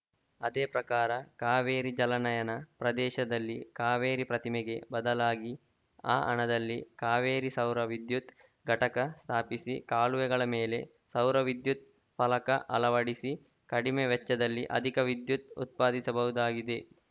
ಅದೇ ಪ್ರಕಾರ ಕಾವೇರಿ ಜಲನಯನ ಪ್ರದೇಶದಲ್ಲಿ ಕಾವೇರಿ ಪ್ರತಿಮೆಗೆ ಬದಲಾಗಿ ಆ ಹಣದಲ್ಲಿ ಕಾವೇರಿ ಸೌರ ವಿದ್ಯುತ್‌ ಘಟಕ ಸ್ಥಾಪಿಸಿ ಕಾಲುವೆಗಳ ಮೇಲೆ ಸೌರವಿದ್ಯುತ್‌ ಫಲಕ ಅಳವಡಿಸಿ ಕಡಿಮೆ ವೆಚ್ಚದಲ್ಲಿ ಅಧಿಕ ವಿದ್ಯುತ್‌ ಉತ್ಪಾದಿಸಬಹುದಾಗಿದೆ